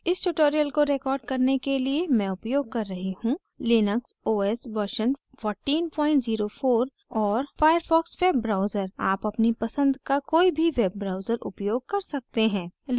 इस tutorial को record करने के लिए मैं उपयोग कर रही हूँ: